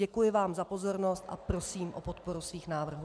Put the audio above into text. Děkuji vám za pozornost a prosím o podporu svých návrhů.